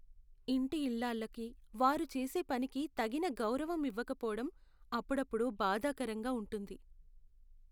ఇంటి ఇల్లాళ్ళకి వారు చేసే పనికి తగిన గౌరవం ఇవ్వకపోవడం అప్పుడప్పుడు బాధాకరంగా ఉంటుంది.